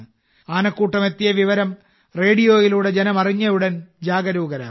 ആനക്കൂട്ടം എത്തിയ വിവരം റേഡിയോയിലൂടെ ജനം അറിഞ്ഞയുടൻ ജാഗരൂകരാകും